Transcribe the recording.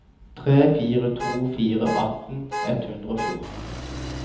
tre fire to fire atten ett hundre og fjorten